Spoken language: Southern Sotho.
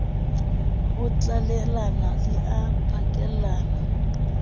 ho tlalellana di a pakellana